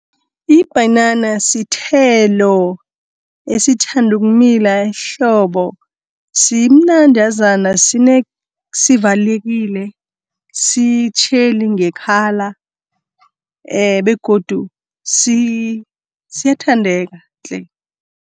Ibhanana sithelo esithanda ukumila ehlobo, simnandazana, sivalekile, sitjheli nge-colour begodu siyathandeka tle.